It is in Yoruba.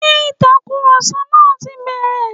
Ṣé Ìtàkùrọ̀sọ yẹn ti bẹ̀rẹ̀?